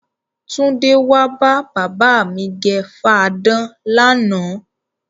Túndé wá bá bàbá mi gẹ fadán lánàá.